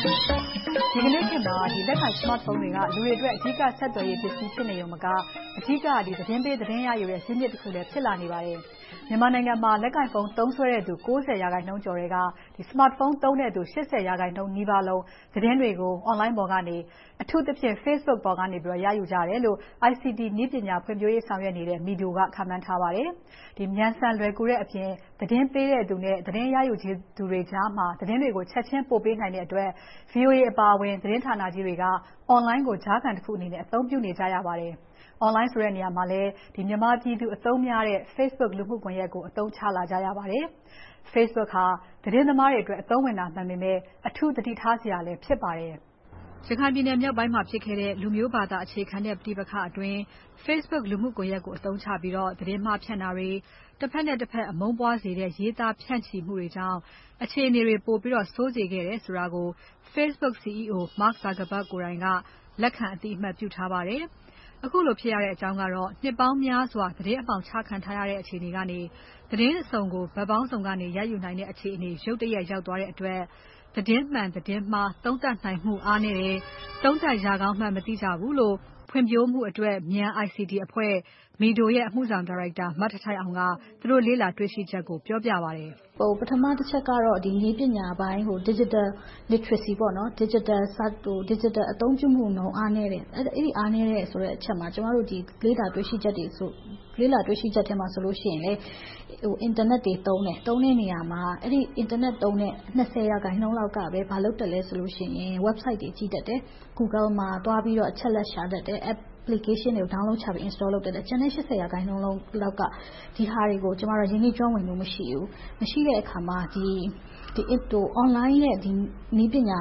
ိုင်စမတ်ဖုန်း တွေက လူတွေအတွက် အဓိကဆက်သွယ်ရေးပစ္စည်း ဖြစ်နေရုံမက အဓိက သတင်းပေး သတင်းရယူတဲ့ ဇစ်မြစ်တခုလည်း ဖြစ်လာနေပါတယ်။ မြန်မာနိုင်ငံမှာ လက်ကိုင်ဖုန်းသုံးစွဲသူ % ကျော်ထဲက smart phone သုံးသူ % နီးပါးလုံး သတင်းတွေကို Online ပေါ်ကနေ အထူးသဖြင့် Facebook ပေါ်ကနေ ရယူကြတယ်လို့ ICT နည်းပညာဖွံ့ဖြိုးရေးဆောင်ရွက်နေတဲ့ MIDO က ခန့်မှန်းထားပါတယ်။ မြန်ဆန်လွယ်ကူတဲ့အပြင် သတင်းပေးသူနဲ့ သတင်းရချင်သူတွေကြား သတင်းတွေကို ချက်ချင်းပို့ပေးနိုင်တဲ့အတွက် VOA အပါအဝင် သတင်းဌာနကြီးတွေက Online ကိုကြားခံတခုနဲ့ အသုံးပြုနေရပါတယ်။ Online ဆိုတဲ့နေရာမှာလည်း မြန်မာပြည်သူအသုံးများတဲ့ Facebook လူမှုကွန်ယက်ကို အသုံးချလာကြရပါတယ်။ Facebook ဟာသတင်းသမားတွေအတွက် အသုံးဝင်တာမှန်ပေမဲ့ အထူးသတိထားစရာလည်းဖြစ်ပါတယ်။ ရခိုင်ပြည်နယ်မြောက်ပိုင်းမှာဖြစ်ခဲ့တဲ့ လူမျိုး ဘာသာအခြေခံတဲ့ ပဋိပက္ခတွေအတွင်း Facebook လူမှုကွန်ယက်ကို အသုံးချပြီး သတင်းမှား ဖြန့်တာတွေ။ တဖက်နဲ့တဖက် အမုန်းပွားစေတဲ့ ရေးသားဖြန့်ချီမှုတွေကြောင့် အခြေအနေတွေ ပိုပြီးဆိုးစေခဲ့တယ်ဆိုတာကို Facebook CEO Mark Zukergerg ကိုယ်တိုင်က လက်ခံ အသိအမှတ်ပြုထားပါတယ်။ ခုလိုဖြစ်ရတဲ့အကြောင်းကတော့ နှစ်ပေါင်းများစွာ သတင်းအမှောင်ချခံထားရတဲ့ အခြေအနေကနေ သတင်းအစုံကို ဘက်ပေါင်းစုံကနေ ရယူနိုင်တဲ့အခြေအနေ ရုတ်တရက်ရောက်သွားတဲ့အတွက် သတင်းမှန် သတင်းမှား သုံးသပ်နိုင်မှု အားနည်းတယ်။ သုံးသပ်ရကောင်းမှန်းမသိကြဘူးလို့ ဖွံ့ဖြိုးမှုအတွက် မြန် ICT အဖွဲ့ MIDO ရဲ့ အမှုဆောင်ဒါရိုက်တာ မထိုက်ထိုက်အောင်က သူတို့လေ့လာတေ့ွရှိချက်ကို ပြောပြပါတယ်။ ပထမတချက်ကတော့ နည်းပညာ Digital literacy ဒစ်ဂျစ်တယ်အသုံးပြုမှုပိုင်း အားနည်းတယ်။ အဲဒီ အားနည်းတယ်ဆိုတဲ့အချက်မှာ ကျမတို့ လေ့လာတွေ့ရှိချက်ထဲမှာဆိုရင် အင်တာနက် တွေသုံးတယ်။ သုံးတဲ့နေရာမှာ သုံးစွဲသူ % လောက်က ဘာလုပ်သလဲဆိုရင် Website တွေ ကြည့်တတ်တယ်။ Google မှာ အချက်အလက်တွေ ရှာတတ်တယ်။ Applications တွေ Download ချပြီး Install လုပ်တတ်တယ်။ ကျန်တဲ့ % လောက်က ဒီဟာတွေကို ရင်းနှီးကျွမ်းဝင်မှု မရှိဘူး။ မရှိတဲ့အခါမှာ Online ရဲ့ နည်းပညာ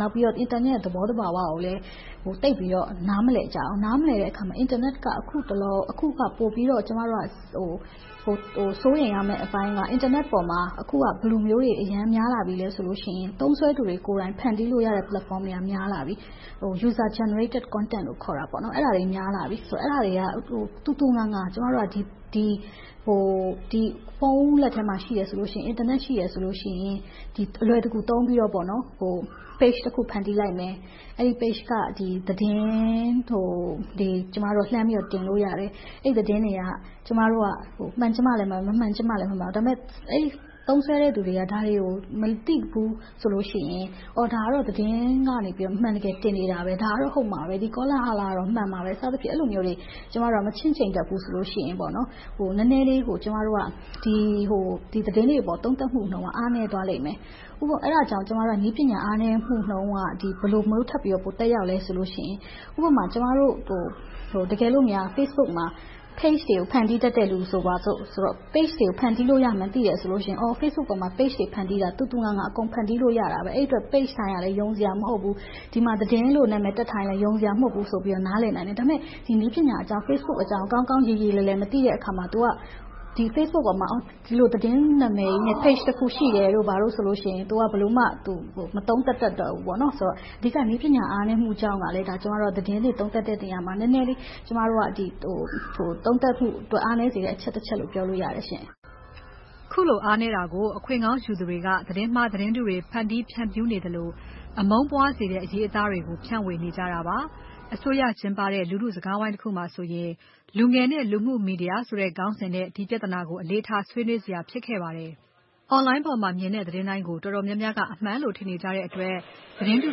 ၊ အင်တာနက်ရဲ့ သဘောသဘာဝကိုလည်း သိပ်ပြီးတော့ နားမလည်ကြဘူး။ နားမလည်တဲ့အခါ အင်တာနက်က အခုမှ ကျမတို့က စိုးရိမ်ရမယ့်အပိုင်းက အင်တာနက်ပေါ်မှာ ဘယ်လိုမျိုးတွေ အရမ်းများလာပြီလဲဆိုရင် သုံးစွဲသူတွေကိုယ်တိုင် ဖန်တီးလို့ရတဲ့ Platform တွေက များလာပြီ။ User Generated Content တွေ များလာပြီ။ အဲဒါတွေက သူသူငါငါ ဖုန်းလက်ထဲမှာရှိတယ်ဆိုရင်၊ အင်တာနက်ရှိတယ်ဆိုရင် အလွယ်တကူသုံးပြီးတော့ Page တခု ဖန်တီးလိုက်မယ်။ အဲဒီ Page က သတင်းတွေကို လှမ်းပြီးတော့ တင်လို့ရတယ်။ အဲဒီသတင်းတွေက မှန်ချင်မှလဲမှန်မယ်၊ မမှန်ချင်လဲမမှန်ဘူး။ ဒါပေမဲ့ အဲဒီ သုံးစွဲသူတွေက ဒါတွေကို မသိဘူးဆိုလို့ရှိရင် ဒါကတော့ သတင်းကနေ အမှန်တကယ် တင်နေတာပဲ။ ဒါကတော့ ဟုတ်မှာပဲ။ ဒီကောလာဟလကတော့ မှန်မှာပဲ ဆိုပြီးတော့ အဲဒါမျိုးတွေ မချင့်ချိန်တတ်ဘူးဆိုရင် နည်းနည်းလေး ဒီသတင်းတွေအပေါ် သုံးသပ်မှုနှုန်းက အားနည်းသွားလိမ့်မယ်။ အဲဒါကြောင့် ကျမတို့က နည်းပညာ အားနည်းမှုနှုန်းက ဘယ်လိုမျိုး ထပ်ပြီးတော့ သက်ရောက်သလဲဆိုရင် ဥပမာ ကျမတို့ကို တကယ်လိုများ Facebook မှာ Page တွေကို ဖန်တီးတတ်တဲ့လူ ဆိုပါစို့ - Page တွေကို ဖန်တီးလို့မှန်း သိတယ်ဆိုရင် Facebook ပေါ်မှာ Page တွေ ဖန်တီးတာ သူသူငါငါ အကုန်ဖန်တီးလို့ရတယ်။ အဲဒီအတွက် Page တိုင်းကလည်း ယုံစရာ မဟုတ်ဘူး။ ဒီမှာ သတင်းလို့ တပ်ထားရင်လဲ ယုံစရာ မဟုတ်ဘူးဆိုပြီး နားလည်နိုင်တယ်။ ဒါပေမဲ့ ဒီနည်းပညာအကြောင်း၊ Facebook အကြောင်း ကောင်းကောင်း ရေရေလယ်လယ် မသိတဲ့အခါမှာ သူက ဒီ Facebook ပေါ်မှာ ဒီလို သတင်းနာမည်ကြီးနဲ့ Page တခု ရှိတယ်တို့၊ ဘာတို့ဆိုလို့ရှိရင် သူက ဘယ်လိုမှ မသုံးသပ်တတ်တော့ဘူး။ အဓိက နည်းပညာ အားနည်းမှုကြောင့်က သတင်းတွေ သုံးးသပ်တဲ့နေရာမှာ နည်းနည်းလေး သုံးသပ်မှုအတွက် အားနည်းစေတဲ့ အချက်တချက်လို့ ပြောလို့ရတယ်။ အခုလို အားနည်းတာကို အခွင့်ကောင်းယူသူတွေက သတင်းမှား သတင်းတုတွေ ဖန်တီးဖြန့်ဖြူးနေသလို၊ အမုန်းပွားစေတဲ့ အရေးအသားတွေကို ဖြန့်ဝေနေကြတာပါ။ အစိုးရကကျင်းပတဲ့ လူထုစကားဝိုင်းတခုမှာဆိုရင် လူငယ်နဲ့လူမှုမီဒီယာဆိုတဲ့ ခေါင်းစဉ်နဲ့ ဒီပြဿနာတွေကို အလေးထားဆွေးနွေးစရာ ဖြစ်ခဲ့ပါတယ်။ Online ပေါ်မှာမြင်တဲ့ သတင်းတိုင်းကို တော်တော်များများက အမှန်လို့ ထင်နေကြတဲ့အတွက် သတင်းတု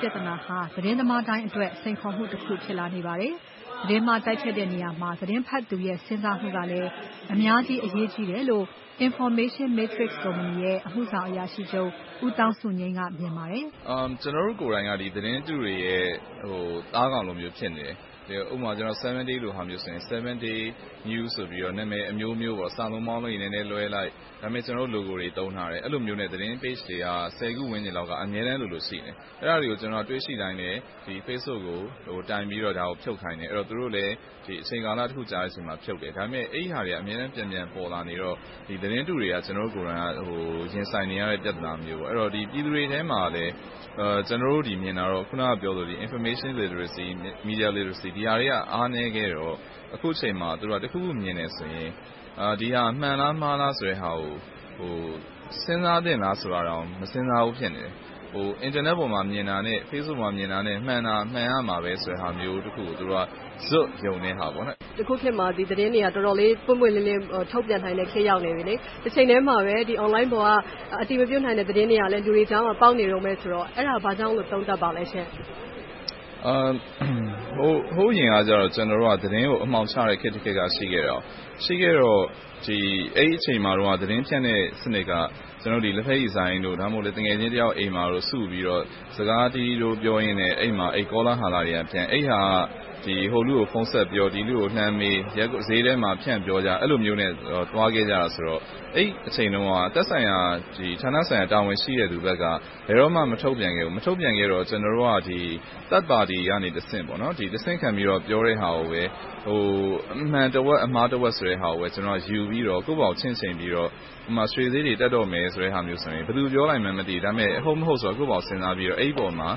ပြဿနာဟာ သတင်းသမားတိုင်းအတွက် စိန်ခေါ်မှုတခု ဖြစ်လာနေပါတယ်။ သတင်းမှား တိုက်ဖျက်တဲ့နေရာမှာ သတင်းဖတ်သူရဲ့ စဉ်းစားမှုကလည်း အများကြီးအရေးကြီးတယ်လို့ Information Matrix ကုမ္ပဏီရဲ့ အမှုဆောင်အရာရှိချုပ် ဦးသောင်းစုငြိမ်းကမြင်ပါတယ်။ ကျနော်တို့ကိုယ်တိုင်က သတင်းတုတွေရဲ့ သားကောင်လိုမျိုး ဖြစ်နေတယ်။ ဥပမာ 7 Days လိုဟာမျိုးဆိုရင် 7 Days News ဆိုပြီး နာမည်အမျိုးမျိုး စာလုံးပေါင်းတွေ နည်းနည်းလွှဲလိုက်၊ ကျနော်တို့ Logo ကို သုံးထားတယ်။ အဲဒီလိုမျိုးနဲ့ သတင်းစာမျက်နှာတွေက ဆယ်ခုလောက် အမြဲတမ်းလိုလို ရှိနေတယ်။ အဲဒါတွေကို တွေ့ရှိတိုင်းလည်း Facebook ကို တိုင်ပြီးတော့ ဖြုတ်ချခိုင်းတယ်။ သူတို့လည်း အချိန်ကာလတခုအကြာမှာ ဖြုတ်တယ်။ အဲဒါတွေက အမြဲတမ်း ပြန်ပြန်ပေါ်လာနေတော့ သတင်းတုတွေက ကျနော်တို့ကိုယ်တိုင် ရင်ဆိုင်နေရတဲ့ ပြဿနာမျိုး။ အဲဒီတော့ ပြည်သူတွေထဲမှာ ကျနော်တို့ မြင်တာကတော့ အခုန ပြောခဲ့သလို Information Literacy, Media Literacy တွေက အားနည်းခဲ့တော့ အခုအချိန်မှာ တခုခု မြင်တယ်ဆိုရင် ဒီဟာ မှန်လား၊ မှားလားဆိုတဲ့ဟာကို စဉ်းစားသင့်လားဆိုတာတောင် မစဉ်းစားဘူး ဖြစ်နေတယ်။ အင်တာနက်ပေါ် မြင်တာနဲ့ Facebook မှာမြင်တာ မှန်ရမှာပဲ ဆိုတာမျိုးတခုကို သူတို့ ဇွတ်ယုံနေကြတယ်။ အခုခေတ်မှာ သတင်းတွေက တော်တော်လေး ပွင့်ပွင့်လင်းလင်း ထုတ်ပြန်နိုင်ပြီ။ တချိန်ထဲမှာပဲ Online ပေါ်က အတည်မပြုနိုင်တဲ့ သတင်းတွေကလည်း လူတွေကြားမှာ ပေါက်နေတုန်းပဲဆိုတော့။ အဲဒါ ဘာကြောင့်လို့ သုံးသပ်ပါလဲရှင့်။ ဟိုးအရင်ကတော့ ကျနော်တို့က သတင်းကို အမှောင်ချခဲ့တဲ့ ခေတ်တခေတ် ရှိခဲ့တယ်။ ရှိခဲ့တော့ အဲဒီအချိန်တုန်းကတော့ သတင်းဖြန့်တဲ့စနစ်က လဘက်ရည်ဆိုင်တို့၊ သူငယ်ချင်းတယောက်အိမ်မှာစုပြီးတော့ စကားတီးတိုးပြောပြီးတော့ အဲဒီမှာ ကောလာဟလတွေကပြန့် - ဟိုလူကို ဖုန်းဆက်ပြော၊ လှမ်းမေး၊ ဈေးထဲမှာ ဖြန့်ပြောကြ အဲဒီလိုမျိုးနဲ့ သွားခဲ့ကြတာဆိုတော့ အဲဒီအချိန်တုန်းက သက်ဆိုင်ရာ ဌာနဆိုင်ရာ တာဝန်ရှိသူတွေဘက်က ဘယ်တော့မှ မထုတ်ပြန်ခဲ့ဖူးဘူး။ မထုတ်ပြန်ခဲ့တော့ ကျနော်တို့က Third party ကတဆင့် ပြောတဲ့ဟာကိုပဲ အမှန်တဝက်၊ အမှားတဝက်ဆိုတာကို ယူပြီးတော့ ကိုယ်ဘာသာကိုယ် ချင့်ချိန်ပြီးတော့ - ဥပမာ ရွှေဈေးတွေ တက်တော့မယ်ဆိုတာမျိုးဆိုရင် ဘယ်သူပြောလိုက်မှန်းမသိဘူး။ ဒါပေမဲ့ ဟုတ်မဟုတ်ဆိုတာက ကိုယ့်ဘာသာ စဉ်းစားပြီးတော့ အဲဒီအပေါ်မှာ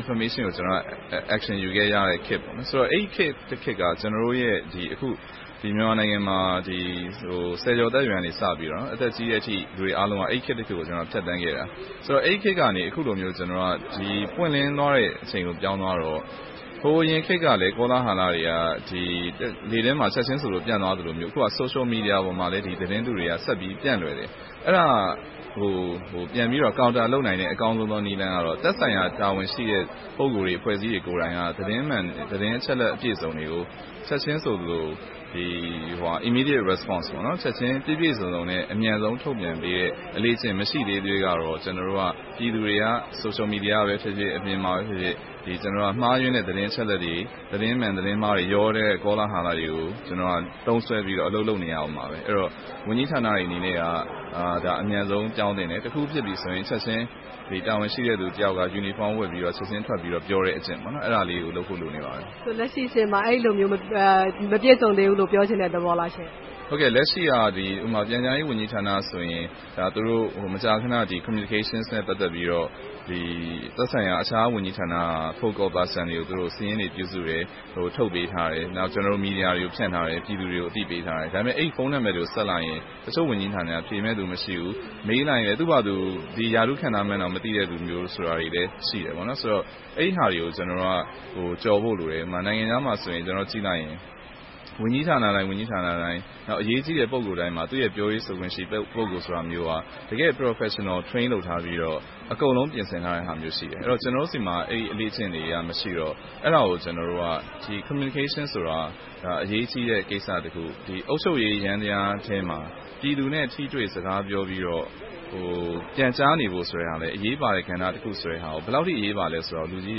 Information ကို Action ယူခဲ့ရတဲ့ခေတ်။ အဲဒီခေတ်တခေတ်က ကျနော်တို့ရဲ့ အခု မြန်မာနိုင်ငံမှာ ဆယ်ကျော်သက်အရွယ်က စပြီးတော့ အသက်ကြီးတဲ့အထိ လူတွေအားလုံးက အဲဒီခေတ်တခေတ်ကို ဖြတ်သန်းခဲ့တာ။ ဆိုတော့ အဲဒီခေတ်ကနေ အခုလိုမျိုး ပွင့်လင်းသွားတဲ့အချိန်ကို ပြောင်းသွားတော့ ဟိုးအရင်ခေတ်ကလည်း ကောလာဟလတွေက လေထဲမှာ ချက်ချင်းပြန့်သွားသလိုမျိုး အခုအခါ Social Media ပေါ်မှာလည်း သတင်းတုတွေက ဆက်ပြီးတော့ ပြန့်လွယ်တယ်။ အဲဒါ ပြန်ပြီးတော့ Counter လုပ်နိုင်တဲ့ အကောင်းဆုံးနည်းလမ်းကတော့ သက်ဆိုင်ရာ တာဝန်ရှိတဲ့ ပုဂ္ဂိုလ်တွေ အဖွဲ့အစည်းတွေကိုယ်တိုင်က သတင်းအချက်အလက် အပြည့်အစုံတွေကို ချက်ချင်းဆိုသလို Immediate Response ချက်ချင်းပြည့်ပြည့်စုံစုံနဲ့ အမြန်ဆုံး ထုတ်ပြန်ပေးတဲ့ အလေ့အကျင့် မရှိသေးသရွေ့တော့ ပြည်သူတွေက Social Media ကပဲဖြစ်ဖြစ်၊ အပြင်မှာပဲဖြစ်ဖြစ် မှားယွင်းတဲ့ သတင်းအချက်အလက်တွေ၊ သတင်းမှန် သတင်းမှားတွေ ရောနေတဲ့ ကောလာဟလတွေကို သုံးစွဲပြီး အလုပ်လုပ်နေရအုံးမှာ ဖြစ်ပါတယ်။ အဲဒီတော့ ဝန်ကြီးဌာနတွေအနေနဲ့က အမြန်ဆုံး ပြောင်းသင့်တယ်။ တခုခုဖြစ်ပြီဆိုရင် ချက်ချင်း တာဝန်ရှိသူတယောက်က Uniform ဝတ်ပြီးတော့ ချက်ချင်းပြောတဲ့အကျင့်ကို လုပ်ဖို့ လိုနေပါပြီ။ လက်ရှိအခြေအနေမှာ အဲဒီလိုမျိုး မပြည့်စုံသေးဘူးလို့ ပြောချင်တဲ့သဘောလားရှင့်။ လက်ရှိက ပြန်ကြားရေးဝန်ကြီးဌာနဆိုရင် သူတို့ မကြာခဏ Communication နဲ့ ပတ်သက်ပြီးတော့ သက်ဆိုင်ရာ အခြားဝန်ကြီးဌာနက Focal persons တွေကို စာရင်းတွေပြုစုပြီးတော့ ထုတ်ပြန်ထားတယ်။ နောက် ကျနော်တို့ မီဒီယာတွေကို ဖြန့်ထားတယ်။ ပြည်သူတွေကို အသိပေးထားတယ်။ ဒါပေမဲ့ အဲဒီ ဖုန်းနံပတ်တွေကို ဆက်လိုက်ရင် တချို့ဝန်ကြီးဌာနတွေက ဖြေမယ့်လူ မရှိဘူး။ မေးလိုက်ရင် သူ့ဘာသာ ဒီရာထူး ခန့်ထားမှန်းတောင် မသိတဲ့လူတွေလည်း ရှိတယ်။ အဲဒီတော့ အဲဒီဟာတွေကို ကျနော်တို့ ကျော်ဖို့လိုတယ်။ ဥပမာ နိုင်ငံခြားမှာဆိုရင် ကြည့်လိုက်ရင် ဝန်ကြီးဌာနတိုင်း၊ အရေးကြီးတဲ့ ပုဂ္ဂိုလ်တိုင်းမှာ သူ့ရဲ့ ပြောရေးဆိုခွင့်ရှိ ပုဂ္ဂိုလ်မျိုးက တကယ့် Professional trained လုပ်ထားပြီးတော့ အကုန်လုံးပြင်ဆင်ထားတယ်။ ကျနော်တို့ဆီမှာ အဲဒီအလေ့အကျင့်တွေက မရှိတော့ အဲဒါကို ကျနော်တို့က Communication ဆိုတာ အရေးကြီးတဲ့ကိစ္စတခု၊ အုပ်ချုပ်ရေးယန္တရားထဲမှာ ပြည်သူနဲ့ ထိတွေ့စကားပြောပြီးတော့ ပြန်ကြားနေတဲ့ဟာကလည်း အရေးပါတဲ့ကဏ္ဍတခုဆိုတာကို၊ ဘယ်လောက်အထိ အရေးပါသလဲဆိုတာကို လူကြီး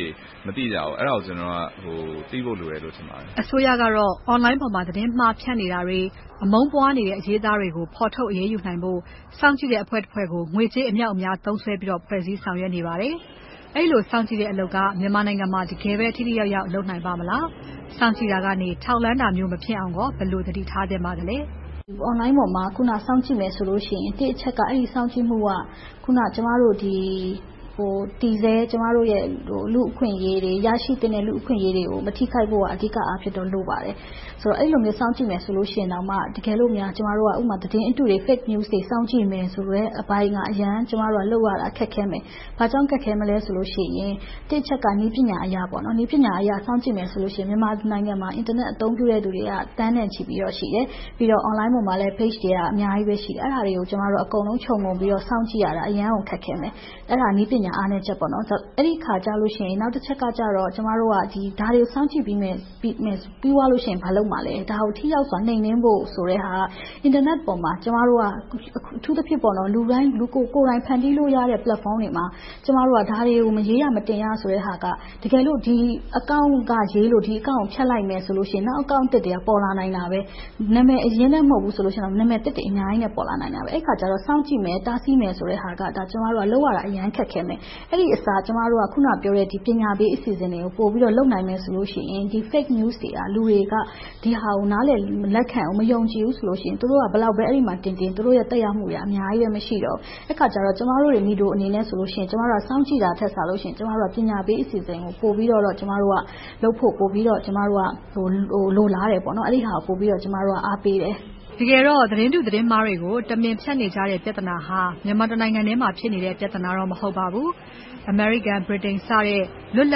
တွေ မသိကြဘူး။ အဲဒါကို ကျနော်က သိဖို့လိုမယ်လို့ ထင်ပါတယ်။ အစိုးရကတော့ Online ပေါ်မှာ သတင်းမှာဖြန့်နေတာတွေ။ အမုန်းပွားနေတဲ့ အရေးအသားတွေကို ဖော်ထုတ်အရေးယူနိုင်ဖို့ စောင့်ကြည့်တဲ့အဖွဲ့တဖွဲ့ကို ငွေကြေးအမြောက်အများသုံးစွဲပြီး ဖွဲ့စည်းဆောင်ရွက်နေပါတယ်။ အဲဒီလို စောင့်ကြည့်တဲ့အလုပ်က မြန်မာနိုင်ငံမှာ တကယ်ပဲ ထိထိရောက်ရောက် လုပ်နိုင်ပါ့မလား။ စောင့်ကြည့်တာကနေ ထောက်လှမ်းတာမျိုး မဖြစ်အောင် ဘယ်လိုသတိထားသင့်ပါသလဲ။ Online ပေါ်မှာ စောင့်ကြည့်မယ်ဆိုရင် အဲဒီစောင့်ကြည့်မှုက ကျမတို့ တည်ဆဲလူ့အခွင့်အရေးတွေ၊ ရရှိသင့်တဲ့ လူ့အခွင့်အရေးတွေကို မထိခိုက်ဖို့က အဓိကအားဖြင့်တော့ လိုပါတယ်။ အဲဒီလို စောင့်ကြည့်မယ်ဆိုရင် တကယ်လို့များ ကျမတို့က သတင်းအတုတွေ Fake news တွေ စောင့်ကြည့်မယ်ဆိုတဲ့အပိုင်းက အရမ်းလုပ်ရမှာ သိပ်ခက်ခဲမယ်။ ဘာကြောင့် ခက်ခဲမလဲဆိုလို့ရှိရင် တစ်အချက်က နည်းပညာအရ စောင့်ကြည့်မယ်ဆိုရင် မြန်မာပြည်မှာ အင်တာနက် အသုံးပြုတွေက သန်းနဲ့ချီပြီးတော့ရှိတယ်။ ပြီးတော့ Online ပေါ်မှာလည်း Pages တွေက အများကြီးရှိတယ်။ အဲဒါတွေကို ကျမတို့က အကုန်လုံးခြုံငုံပြီးတော့ စောင့်ကြည့်ရတာ အရမ်းကို ခက်ခဲမယ်။ အဲဒါ နည်းပညာအားနည်းချက်ပေါ့။ အဲဒီအခါကြရင် နောက်တချက်ကြတော့ ကျမတို့က ဒါတွေကို စောင့်ကြည့်မယ်။ ပြီးရင် ဘာလုပ်မလဲ။ ဒါကို ထိရောက်စွာ နှိမ်နင်းဖို့ဆိုတဲ့ဟာက အင်တာနက်ပေါ်မှာ ကျမတို့က အထူးသဖြင့် လူတိုင်း ကိုယ်တိုင်ဖန်တီးလို့ရတဲ့ Platform တွေမှာ ကျမတို့က ဒါတွေကို မရေးရ၊ မတင်ရဆိုတဲ့ဟာက တကယ်လို့ ဒီ Account က ရေးလို့၊ ဒီ Account ကို ဖျက်လိုက်မယ်ဆိုရင် နောက် Account အသစ်တွေ ပေါ်လာနိုင်တယ်။ နာမည်အရင်းနဲ့ မဟုတ်ဘူးဆိုရင် နာမည်အသစ်တွေ အများကြီးနဲ့ ပေါ်လာနိုင်တယ်။ အဲဒီအခါ စောင့်ကြည့်မယ်၊ တားဆီးမယ်ဆိုတဲ့ဟာက ကျမတို့က လုပ်ရမှာ အရမ်းခက်ခဲမယ်။ အဲဒီအစား ကျမတို့က အခုနပြောတဲ့ ပညာပေးအစီအစဉ်တွေကို ပိုပြီးတော့ လုပ်နိုင်မယ်ဆိုရင် ဒီ Fake News တွေက လူတွေက ဒီသတင်းတွေကို နားလည်လက်မခံ၊ မယုံကြည်ဘူးဆိုရင် သူတို့က အဲဒီမှာ ဘယ်လောက်ပဲတင်တင်၊ သူတို့ရဲ့ သက်ရောက်မှုတွေက အများကြီး မရှိတော့ဘူး။ အဲဒီအခါ ကျမတို့ MIDO အနေနဲ့ဆိုရင် စောင့်ကြည့်တာထက်၊ ပညာပေးအစီအစဉ်ကို ပိုပြီးတော့လုပ်ဖို့ ကျမတို့က လိုလားတယ်။ အဲဒါကို ပိုပြီးတော့ အားပေးတယ်။ တကယ်တော့ သတင်းတု သတင်းမှားတွေကို တမင်ဖြန့်နေကြတဲ့ ပြဿနာဟာ မြန်မာတနိုင်ငံထဲမှာ ဖြစ်နေတဲ့ ပြဿနာတော့ မဟုတ်ပါဘူး။ အမေရိကန်၊ ဗြိတိန်စတဲ့ လွတ်လ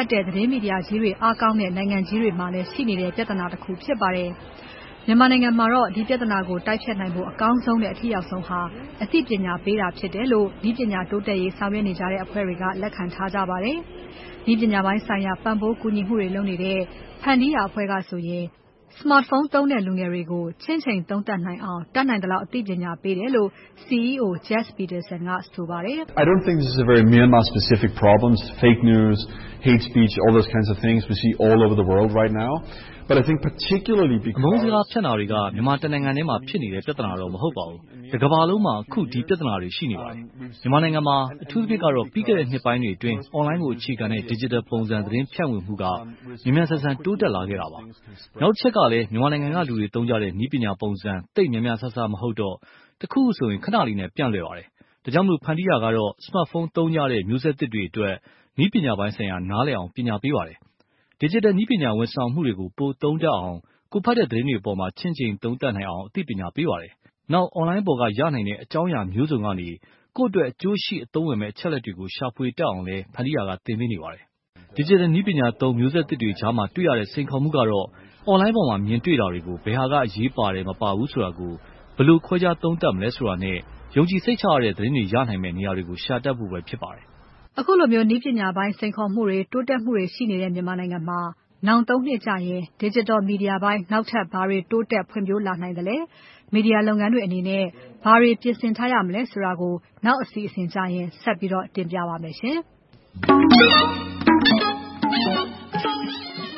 ပ်တဲ့ သတင်းမီဒီယာကြီးတွေ အားကောင်းတဲ့ နိုင်ငံကြီးတွေမှာလည်း ရှိနေတဲ့ ပြဿနာတခု ဖြစ်ပါတယ်။ မြန်မာနိုင်ငံမှာတော့ ဒီပြဿနာကို တိုက်ဖျက်နိုင်ဖို့ အကောင်းဆုံးနဲ့ အထိရောက်ဆုံးဟာ အသိပညာပေးတာဖြစ်တယ်လို့ နည်းပညာ တိုးတက်ရေးဆောင်ရွက်နေကြတဲ့ အဖွဲ့တွေက လက်ခံထားကြတာပါ။ နည်းပညာပိုင်းဆိုင်ရာ ပံ့ပိုးကူညီမှုတွေလုပ်နေတဲ့ ဖန်တီးရာအဖွဲ့ကဆိုရင် စမတ်ဖုန်းသုံးတဲ့ လူငယ်တွေကို ချင့်ချိန်သုံးသပ်နိုင်အောင် တတ်နိုင်သလောက် အသိပညာပေးတယ်လို့ CEO Jes Petersen ကဆိုပါတယ်။ သတင်းတုပြဿနာ။ အမုန်းစကားဖြန့်တာတွေက မြန်မာတနိုင်ငံထဲမှာ ဖြစ်နေတဲ့ ပြဿနာတော့ မဟုတ်ပါဘူး။ တကမ္ဘာလုံးမှာ အခုဒီပြဿနာတွေ ရှိနေပါတယ်။ မြန်မာနိုင်ငံမှာ အထူးသဖြင့်ကတော့ ပြီးခဲ့တဲ့နှစ်ပိုင်းအတွင်း Online ကိုအခြေခံတဲ့ Digital ပုံစံသတင်းဖြန့်ဝေမှုက မြန်မြန်ဆန်ဆန် တိုးတက်လာခဲ့တာပါတယ်။ နောက်တချက်ကလည်း မြန်မာနိုင်ငံကလူတွေသုံးကြတဲ့ နည်းပညာပုံစံ သိပ်များများစားစား မဟုတ်တော့ တခုခုဆို ခဏလေးနဲ့ ပျံ့လွယ်ပါတယ်။ ဒါကြောင့် ဖန်တီးရာကတော့ စမတ်ဖုန်းသုံးကြတဲ့ မျိုးဆက်သစ်တွေအတွက် နည်းပညာပိုင်းဆိုင်ရာ နားလည်အောင် ပညာပေးပါတယ်။ Digital နည်းပညာဝန်ဆောင်မှုတွေကို ပိုသုံးတတ်အောင်။ ကိုယ်ဖတ်တဲ့သတင်းတွေအပေါ် ချင့်ချိန်သုံးသပ်နိုင်အောင် အသိပညာပေးပါတယ်။ နောက် Online ပေါ်ရနိုင်တဲ့အကြောင်းအရာမျိုးစုံကနေ ကိုယ့်အတွက်အကျိုးရှိ အသုံးဝင်မယ့် အချက်အလက်တွေကို ရှာဖွေတတ်အောင်လည်း ဖန်တီးရာက သင်ပေးနေပါတယ်။ Digital နည်းပညာသုံး မျိုးဆက်သစ်တွေကြားမှာ တွေ့ရတဲ့ စိန်ခေါ်မှုကတော့ Online ပေါ်မှာ မြင်တွေ့နေတာတွေကို ဘယ်ဟာက အရေးပါတယ်၊ မပါဘူးဆိုတာကို ဘယ်လိုခွဲခြားသုံးသပ်မလဲ ဆိုတာထက်၊ ယုံကြည်စိတ်ချမယ့် သတင်းတွေ ရနိုင်မယ့် နေရာတွေကို ရှာတတ်ဖို့ပဲ ဖြစ်ပါတယ်။ အခုလိုမျိုး နည်းပညာပိုင်း စိန်ခေါ်မှုတွေ၊ တိုးတက်မှုတွေ ရှိနေတဲ့ မြန်မာနိုင်ငံမှာ နောင် နှစ်ကြရင် Digital Media ပိုင်း နောက်ထပ် ဘာတွေဖွံ့ဖြိုးတိုးတက်လာနိုင်မလဲ။ မီဒီယာလုပ်ငန်းတွေအနေနဲ့ ဘာတွေ ပြင်ဆင်ထားရမလဲဆိုတာကို နောက် အစီအစဉ်ကြရင် ဆက်ပြီးတော့ တင်ပြသွားပါမယ်။